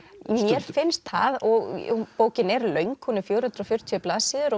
mér finnst það og bókin er löng hún er fjögur hundruð og fjörutíu blaðsíður